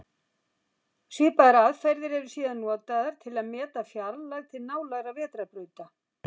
Svipaðar aðferðir eru síðan notaðar til að meta fjarlægð til nálægra vetrarbrauta.